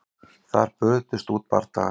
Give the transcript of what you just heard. Þar brutust út bardagar